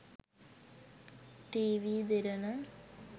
tv derana